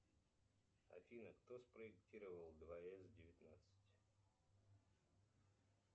афина кто спроектировал дворец девятнадцать